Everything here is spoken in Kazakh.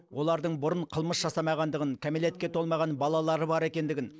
олардың бұрын қылмыс жасамағандығын кәмелетке толмаған балалары бар екендігін